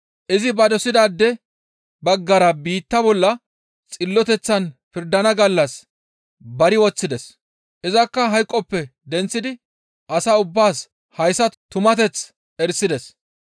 Izi ba dosidaade baggara biitta bolla xilloteththan pirdana gallas bare woththides. Izakka hayqoppe denththidi as ubbaas hayssa tumateththa erisides.